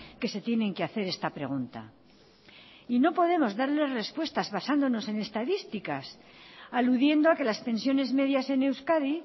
que se tienen que hacer esta pregunta y no podemos darles respuestas basándonos en estadísticas aludiendo a que las pensiones medias en euskadi